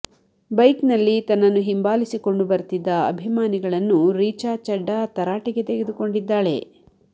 bike ನಲ್ಲಿ ತನ್ನನ್ನು ಹಿಂಬಾಲಿಸಿಕೊಂಡು ಬರ್ತಿದ್ದ ಅಭಿಮಾನಿಗಳನ್ನು ರೀಚಾ ಚಡ್ಡಾ ತರಾಟೆಗೆ ತೆಗೆದುಕೊಂಡಿದ್ದಾಳೆ